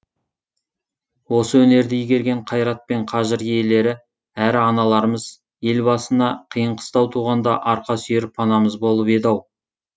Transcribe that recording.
осы өнерді игерген қайрат пен қажыр иелері әрі аналарымыз ел басына қиын қыстау туғанда арқа сүйер панамыз болып еді ау